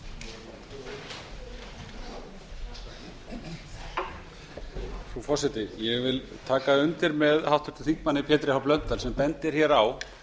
frú forseti ég vil taka undir með háttvirtum þingmanni pétri h blöndal sem bendir hér á